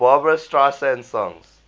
barbra streisand songs